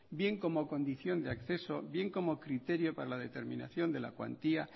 bien como condición de acceso bien como criterio para la determinación de la cuantía